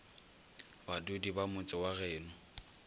badudi ba motse wa geno